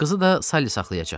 Qızı da Sali saxlayacaq.